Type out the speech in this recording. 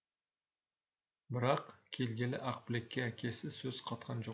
бірак келгелі ақбілекке әкесі сөз қатқан жоқ